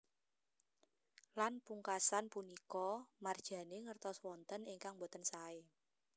Lan pungkasan punika Marjane ngertos wonten ingkang boten sae